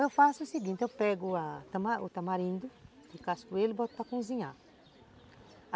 Eu faço o seguinte, eu pego a o tamarindo descasco ele e boto para cozinhar.